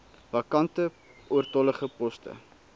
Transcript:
vakante oortollige poste